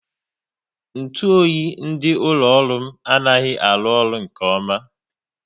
Ntụ oyi dị n'ụlọ ọrụ m anaghị arụ ọrụ nke ọma